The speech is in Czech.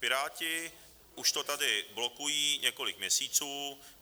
Piráti už to tady blokují několik měsíců.